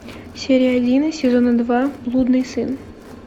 серия один сезона два блудный сын